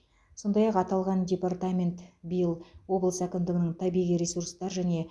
сондай ақ аталған департамент биыл облыс әкімдігінің табиғи ресурстар және